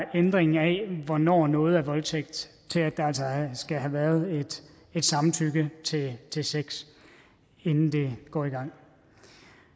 ændring af hvornår noget er voldtægt til at der altså skal have været et samtykke til til sex inden det går i gang